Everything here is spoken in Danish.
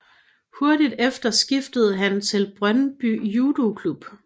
Hurtigt efter skiftede han til Brøndby Judoklub